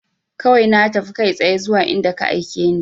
Kawai na tafi kai tsaye zuwa inda ka aike ni